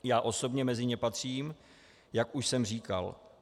Já osobně mezi ně patřím, jak už jsem říkal.